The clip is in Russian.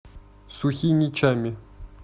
сухиничами